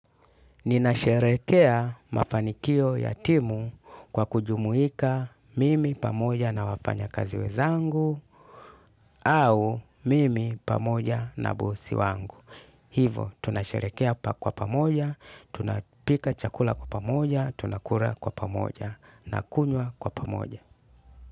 Ninasherehekea mafanikio ya timu kwa kujumuika mimi pamoja na wafanyakazi wenzangu au mimi pamoja na bosi wangu. Hivo tunasherehekea kwa pamoja, tunapika chakula kwa pamoja, tunakula kwa pamoja, tunakunywa kwa pamoja.